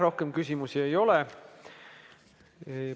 Rohkem küsimusi ei ole.